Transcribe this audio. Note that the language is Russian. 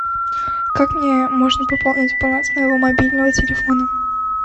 как мне можно пополнить баланс моего мобильного телефона